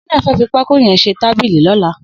Shina fẹ̀ fi pàkó yèn ṣé tàbìlí lọ̀lá